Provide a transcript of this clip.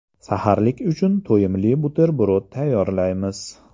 Saharlik uchun to‘yimli buterbrod tayyorlaymiz.